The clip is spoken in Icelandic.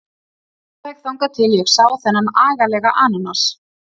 Alveg þangað til ég sá þennan agalega ananas.